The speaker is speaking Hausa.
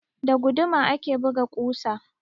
Da guduma ake buga ƙusa.